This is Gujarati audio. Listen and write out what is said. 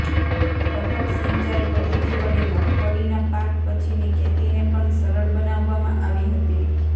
ટપક સિંચાઇ પધ્ધતિ વડે મગફળીના પાક પછીની ખેતીને પણ સરળ બનાવવામાં આવી હતી